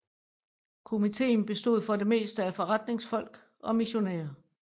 Komiteen bestod for det meste af forretningsfolk og missionærer